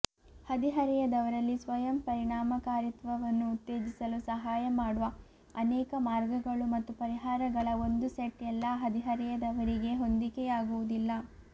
ಹದಿಹರೆಯದವರಲ್ಲಿ ಸ್ವಯಂ ಪರಿಣಾಮಕಾರಿತ್ವವನ್ನು ಉತ್ತೇಜಿಸಲು ಸಹಾಯ ಮಾಡುವ ಅನೇಕ ಮಾರ್ಗಗಳು ಮತ್ತು ಪರಿಹಾರಗಳ ಒಂದು ಸೆಟ್ ಎಲ್ಲಾ ಹದಿಹರೆಯದವರಿಗೆ ಹೊಂದಿಕೆಯಾಗುವುದಿಲ್ಲ